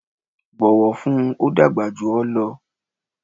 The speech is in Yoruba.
bọ̀wọ̀ fún un! ó dàgbà jù ọ lọ.